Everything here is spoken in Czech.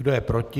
Kdo je proti?